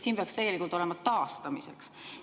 Siin peaks tegelikult olema "taastamiseks".